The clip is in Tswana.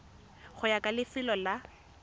go ya ka lefelo la